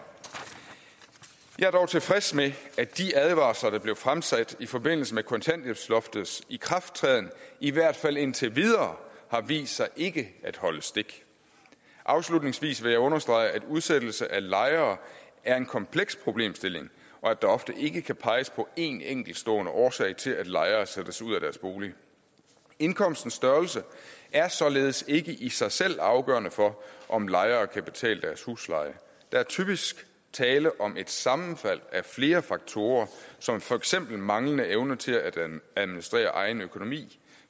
jeg er dog tilfreds med at de advarsler der blev fremsat i forbindelse med kontanthjælpsloftets ikrafttræden i hvert fald indtil videre har vist sig ikke at holde stik afslutningsvis vil jeg understrege at udsættelse af lejere er en kompleks problemstilling og at der ofte ikke kan peges på en enkeltstående årsag til at lejere sættes ud af deres bolig indkomstens størrelse er således ikke i sig selv afgørende for om lejere kan betale deres husleje der er typisk tale om et sammenfald af flere faktorer som for eksempel manglende evne til at administrere egen økonomi